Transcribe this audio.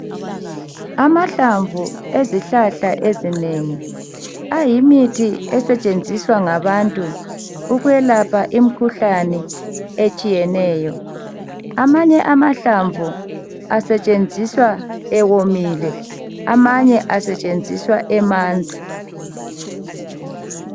Amahlamvu ezihlahla ezinengi ayimithi esetshenziswa ngabantu ukwelapha imikhuhlane etshiyeneyo amanye amahlamvu asetshenziswa ewomile amanye asetshenziswa emanzi